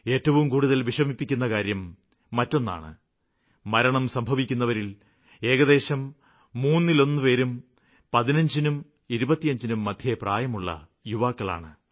ഏറ്റവും കൂടുതല് വിഷമിപ്പിക്കുന്ന കാര്യം മറ്റൊന്നാണ് മരണം സംഭവിക്കുന്നവരില് ഏകദേശം മൂന്നിലൊന്നുപേരും 15നും 25നും മധ്യേ പ്രായമുള്ള യുവാക്കളാണ്